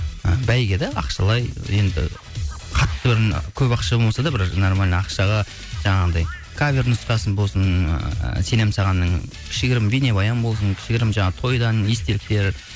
і бәйге де ақшалай енді қатты бір көп ақша болмаса да бір нормально ақшаға жаңағындай кавер нұсқасы болсын ыыы сенемін сағанның кішігірім бейнебаян болсын кішігірім жаңа тойдан естеліктер